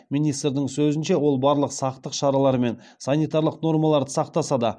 министрдің сөзінше ол барлық сақтық шаралары мен санитарлық нормаларды сақтаса да